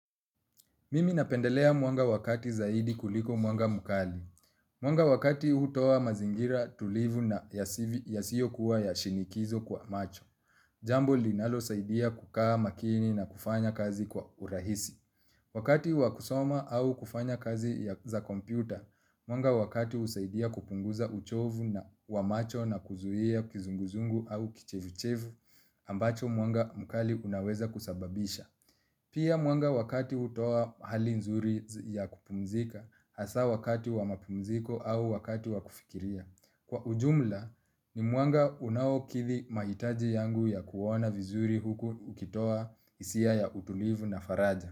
Mimi napendelea mwanga wa kati zaidi kuliko mwanga mkali. Mwanga wa kati hutoa mazingira tulivu na yasiyokuwa ya shinikizo kwa macho. Jambo linalosaidia kukaa makini na kufanya kazi kwa urahisi. Wakati wa kusoma au kufanya kazi za kompyuta, mwanga wa kati husaidia kupunguza uchovu na wa macho na kuzuia kizunguzungu au kichevuchevu, ambacho mwanga mkali unaweza kusababisha. Pia mwanga wa kati hutoa hali nzuri ya kupumzika hasa wakati wa mapumziko au wakati wa kufikiria. Kwa ujumla ni mwanga unaokidhi mahitaji yangu ya kuona vizuri huku ukitoa hisia ya utulivu na faraja.